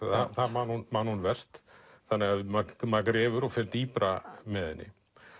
það man hún man hún verst þannig maður grefur og fer dýpra með henni